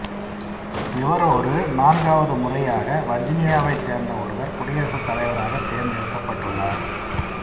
இவரோடு நான்காவது முறையாக வர்ஜீனியாவைச் சேர்ந்த ஒருவர் குடியரசுத் தலைவராகத் தேர்ந்தெடுக்கப்பட்டுள்ளார்